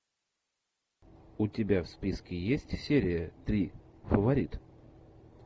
у тебя в списке есть серия три фаворит